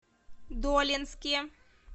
долинске